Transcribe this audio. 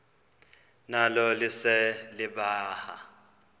nalo lise libaha